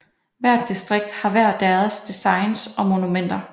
Hvert distrikt har hver deres designs og monumenter